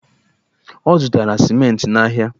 Ọ zụtara simenti n'ahịa?